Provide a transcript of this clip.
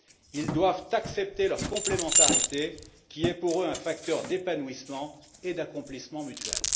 Ils doivent accepter leur complémentarité qui est pour eux un facteur d'épanouissement et d'accomplissement mutuel.